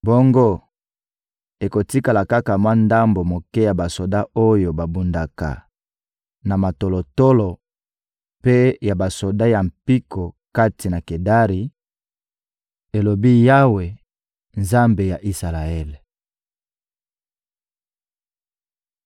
Bongo, ekotikala kaka mwa ndambo moke ya basoda oyo babundaka na matolotolo mpe ya basoda ya mpiko kati na Kedari,» elobi Yawe, Nzambe ya Isalaele.